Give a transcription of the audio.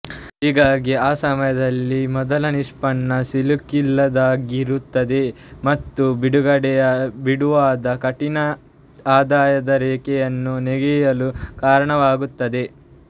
ಹೀಗಾಗಿ ಆ ಸಮಯದಲ್ಲಿ ಮೊದಲ ನಿಷ್ಪನ್ನ ಸಿಲುಕಿಲ್ಲದಾಗಿರುತ್ತದೆ ಮತ್ತು ಬಿಡುವಾದ ಕನಿಷ್ಠ ಆದಾಯ ರೇಖೆಯನ್ನು ನೆಗೆಯಲು ಕಾರಣವಾಗುತ್ತದೆ